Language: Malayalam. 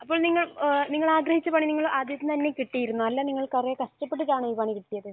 അപ്പോൾ ഇങ്ങനെ നിങ്ങൾ ആഗ്രഹിച്ച പണി നിങ്ങൾ ആഗ്രഹിച്ചത് തന്നെ കിട്ടിയിരുന്നോ അല്ല നിങ്ങൾ കുറെ കഷ്ടപ്പെട്ടിട്ടാണോ ഈ പണി കിട്ടിയത്?